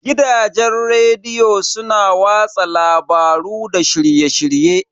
Gidajen rediyo su na watsa labaru da shirye-shirye.